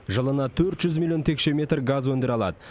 жылына төрт жүз миллион текше метр газ өндіре алады